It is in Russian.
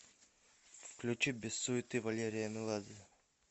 включи без суеты валерия меладзе